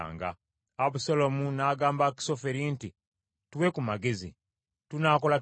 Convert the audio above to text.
Abusaalomu n’agamba Akisoferi nti, “Tuwe ku magezi. Tunaakola tutya?”